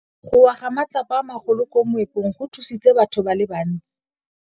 Go wa ga matlapa a magolo ko moepong go tshositse batho ba le bantsi.